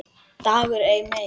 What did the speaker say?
DAGUR EI MEIR